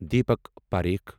Deepak Parikh